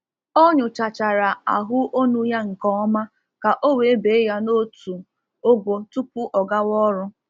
Ọ nyochachara ahu onu ya nke ọma ka o wee bee ya n'otu ogo tupu ọ gawa ọrụ.